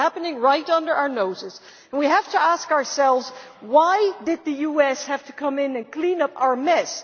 It was happening right under our noses, but we have to ask ourselves why did the US have to come in and clean up our mess?